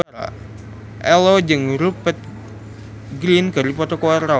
Ello jeung Rupert Grin keur dipoto ku wartawan